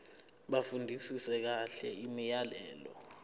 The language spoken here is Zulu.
bafundisise kahle imiyalelo